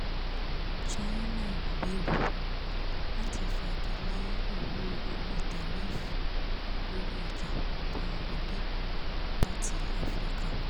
china ń gbèrò láti fàgilẹ̀ owó orí tariifa lórí ọjà tó ń wọlé láti africa